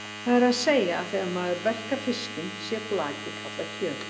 Það er að segja að þegar maður verkar fiskinn sé flakið kallað kjöt.